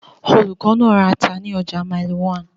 Olùkọ́ náà ra ata ní ọjà Mile 1.